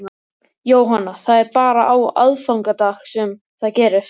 Jóhanna: Það er bara á aðfangadag sem það gerist?